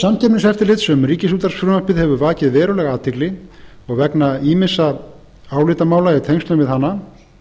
umsögn samkeppniseftirlitsins um ríkisútvarpsfrumvarpið hefur vakið verulega athygli og vegna ýmissa álitamála í tengslum við hana